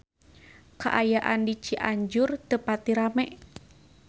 Kaayaan di Cianjur teu pati rame